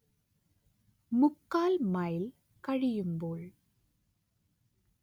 മുക്കാൽ മൈൽ കഴിയുമ്പോൾ